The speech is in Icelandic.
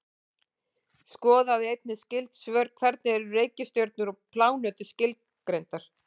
Skoðið einnig skyld svör: Hvernig eru reikistjörnur og plánetur skilgreindar?